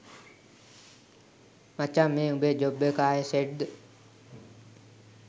මචංමේ උඹේ ජොබ් එක ආයේ සෙට් ද?